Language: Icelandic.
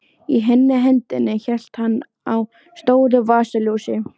Í hinni hendinni hélt hann á stóru vasaljósi.